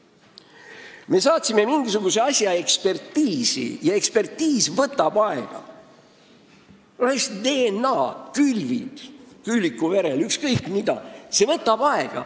Või kui me saadame mingisuguse asja ekspertiisi, siis see võtab aega – DNA-analüüs, külvid vms.